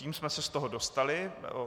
Tím jsme se z toho dostali.